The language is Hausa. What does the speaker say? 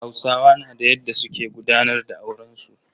Hausawa na da yadda su ke gudanar da auren su.